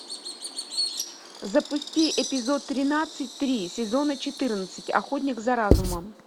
запусти эпизод тринадцать три сезона четырнадцать охотник за разумом